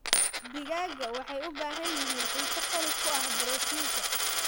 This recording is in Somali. Digaagga waxay u baahan yihiin cunto qani ku ah borotiinka.